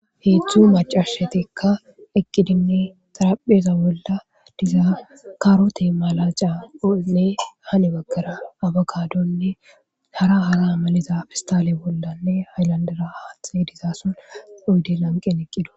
heedzdzu macashatikka eqqidinne xarapheza bolla dizaa karote malacaonne hane baggara abakadonne hara hara amaliza fistale bollanne haylandira haathe dizaason uydi lanqen eqqidosona